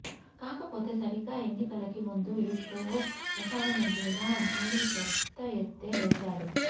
కాకపోతే సరిగ్గా ఎన్నికలకి ముందు ఈ షో ప్రసారమయ్యేలా ఆలీ పెద్ద ఎత్తే వేసాడు